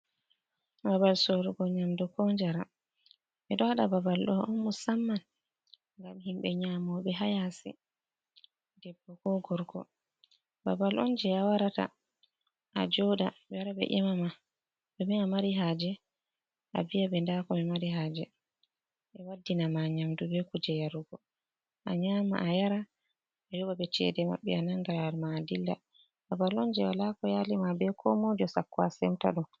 Babal sorugo nyamdu ko njaram, ɓe ɗowaɗa babal ɗo on mosamman gam himɓe nyamo be hayasi debbo ko gorgo, babal on je a warata a joɗa ɓe wara ɓe emama ɗome a mari haje a viya ɓe nda ko amari haje ɓe waddina ma nyamdu be kuje yarugo, a nyama a yara a yoɓa ɓe cede maɓɓe a nanga lawul ma a dilla, babal on je walako yali ma be ko moijo sakko a semta ɗom.